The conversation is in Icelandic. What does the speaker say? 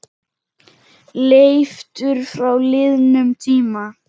Leiftur frá liðnum tíma.